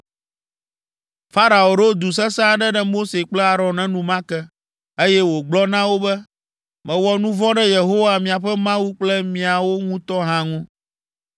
Farao ɖo du sesẽ aɖe ɖe Mose kple Aron enumake, eye wògblɔ na wo be, “Mewɔ nu vɔ̃ ɖe Yehowa, miaƒe Mawu kple miawo ŋutɔ hã ŋu.